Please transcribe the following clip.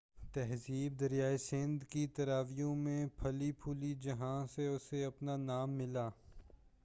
تہذیب دریائے سندھ کی ترائیوں میں پھلی پھولی جہاں سے اسے اپنا نام ملا